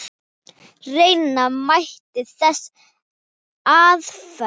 Reyna mætti þessa aðferð.